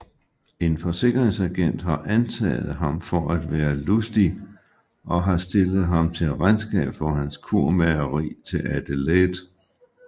En forsikringsagent har antaget ham for at være Lustig og har stillet ham til regnskab for hans kurmageri til Adelaide